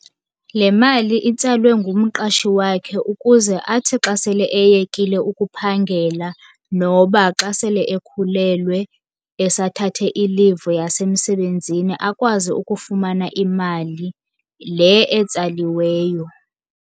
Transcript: Le mali itsalwe ngumqashi wakhe ukuze athi xa sele eyekile ukuphangela, noba xa sele ekhulelwe esathathe i-leave yasemsebenzini akwazi ukufumana imali le etsaliweyo.